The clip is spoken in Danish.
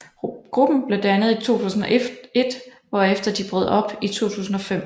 Gruppen blev dannet i 2001 hvorefter de brød op i 2005